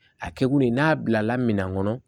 A kɛ kun ye n'a bilala minan kɔnɔ